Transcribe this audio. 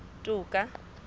toka